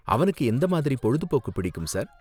அவனுக்கு எந்த மாதிரி பொழுதுபோக்கு பிடிக்கும், சார்?